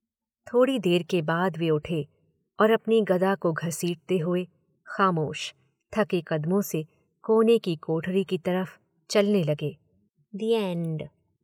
थोड़ी देर के बाद वे उठे और अपनी गदा को घसीटते हुए खामोश, थके कदमों से कोने की कोठरी की तरफ चलने लगे। The and